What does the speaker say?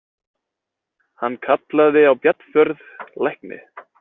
Hann kallaði á Bjarnfjörð lækni.